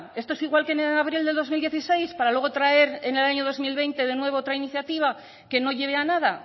esto es igual que en abril del dos mil dieciséis para luego traer en el año dos mil veinte de nuevo otra iniciativa que no lleve a nada